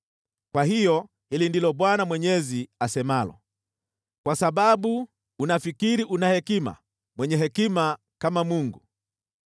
“ ‘Kwa hiyo, hili ndilo Bwana Mwenyezi asemalo: “ ‘Kwa sababu unafikiri una hekima, mwenye hekima kama mungu,